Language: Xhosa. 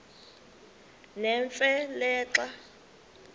nemfe le xa